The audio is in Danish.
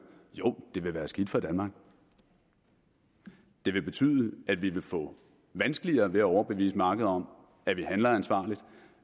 jo det vil være skidt for danmark det vil betyde at vi vil få vanskeligere ved at overbevise markedet om at vi handler ansvarligt